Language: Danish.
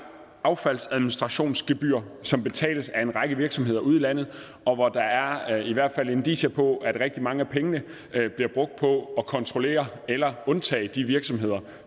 affaldsadministrationsgebyr som betales af en række virksomheder ude i landet og hvor der er i hvert fald indicier på at rigtig mange af pengene bliver brugt på at kontrollere eller undtage de virksomheder